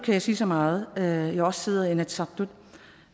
jeg sige så meget da jeg også sidder i inatsisartut